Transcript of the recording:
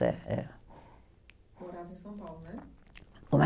É, é. Morava em São Paulo, né?